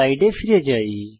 স্লাইডে ফিরে যাই